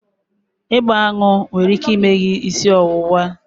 Ịgba aṅụ nwere ike ime gị isi ọwụwa